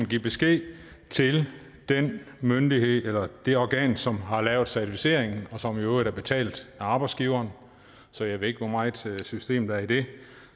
give besked til den myndighed eller det organ som har lavet certificeringen og som i øvrigt er betalt af arbejdsgiveren så jeg ved ikke hvor meget system der er i det